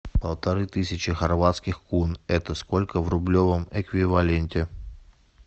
полторы тысячи хорватских кун это сколько в рублевом эквиваленте